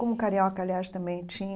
Como o Carioca, aliás, também tinha.